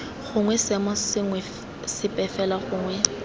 gongwe seemo sepe fela gongwe